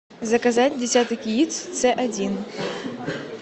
заказать десяток яиц ц один